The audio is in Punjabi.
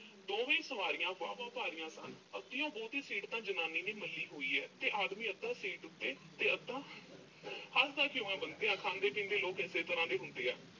ਦੋਵੇਂ ਸਵਾਰੀਆਂ ਬਾਹਵਾ ਭਾਰੀਆਂ ਸਨ। ਅੱਧਿਓਂ ਬਹੁਤੀ seat ਤਾਂ ਜਨਾਨੀ ਨੇ ਮੱਲ੍ਹੀ ਹੋਈ ਐ ਤੇ ਆਦਮੀ ਅੱਧਾ seat ਉੱਤੇ ਤੇ ਅੱਧਾ। ਹੱਸਦਾ ਕਿਉਂ ਆਂ ਬੰਤਿਆ, ਖਾਂਦੇ-ਪੀਂਦੇ ਲੋਕ ਏਸੇ ਤਰ੍ਹਾਂ ਦੇ ਹੁੰਦੇ ਆ।